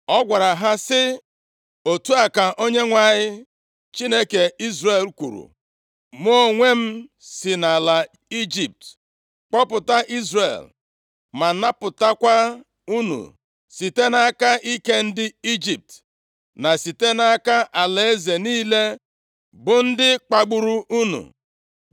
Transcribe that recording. Ọ gwara ha sị, “Otu a ka Onyenwe anyị, Chineke Izrel kwuru, ‘Mụ onwe m si nʼala Ijipt kpọpụta Izrel ma napụtakwa unu site nʼaka ike ndị Ijipt, na site nʼaka alaeze niile bụ ndị kpagburu unu.’